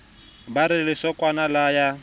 ba re lesokwana la ya